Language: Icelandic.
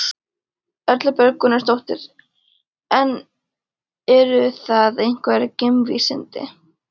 Erla Björg Gunnarsdóttir: En eru það einhver geimvísindi?